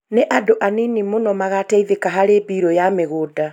Nĩ andũ anini mũno magateithĩka harĩ mbiru ya migũnda